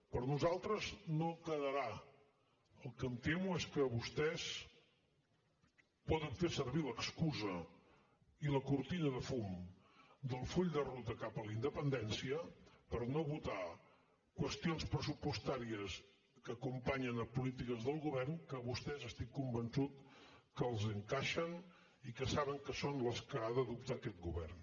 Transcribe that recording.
per nosaltres no quedarà el que em temo és que vostès poden fer servir l’excusa i la cortina de fum del full de ruta cap a la independència per no votar qüestions pressupostàries que acompanyen a polítiques del govern que a vostès estic convençut que els hi encaixen i que saben que són les que ha d’adoptar aquest govern